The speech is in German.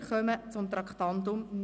Wir kommen zu Traktandum 49: